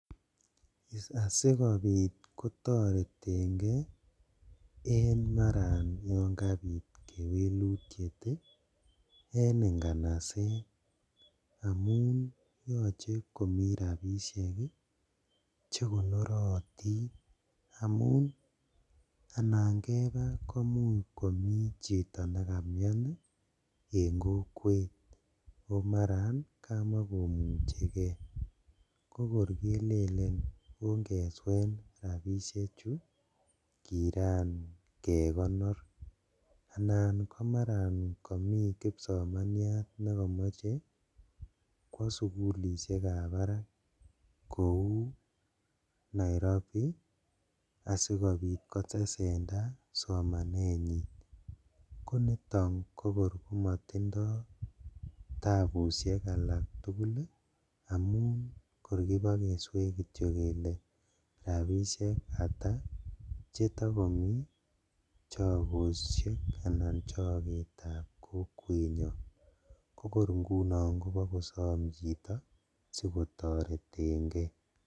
Asikobit kotoretengee en maran yon kabit kewelutiet en inganaset amun yoche komi rabishek ii chekonorotin amun anan kebaa komuch komi chito nekamian ii en kokwet o maran kamakomuchekee kokor kelele ongeswen rabishechu kiran kekonor, anan komaran komi kipsomaniat nekomiche kwo sugulishekab barak kou Nairobi asikobit kotesendaa somanenyin, koniton kokor komotindo tabushek alaktugul ii amun kor kibokesween kityok kele rabishek ata chetokomi chogoshek anan choketab kokwenyon kokor ingunon kobokosom chito sikotoretengee.